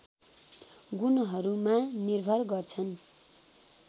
गुणहरूमा निर्भर गर्छन्